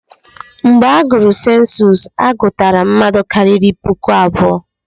Mgbe agụrụ sensus, a gụtara mmadụ karịrị puku abụọ.